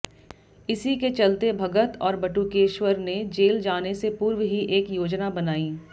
इसी के चलते भगत और बटुकेश्वर ने जेल जाने से पूर्व ही एक योजना बनाई